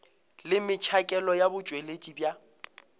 le metšhakelo ya botšweletši bja